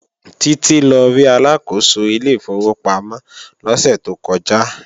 Títí lọ rí Aláàkóso ilé ìfowópamọ́ lọ́sẹ̀ tó kọjá